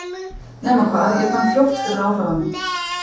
Nema hvað, ég fann fljótt fyrir áhrifunum.